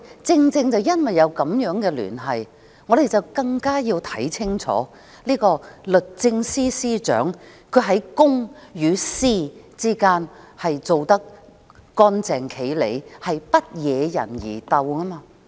正因為有這樣的聯繫，我們更要看清楚這位律政司司長在公、私之間是否做得乾淨利落，不惹人疑竇。